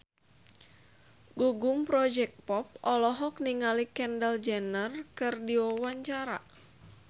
Gugum Project Pop olohok ningali Kendall Jenner keur diwawancara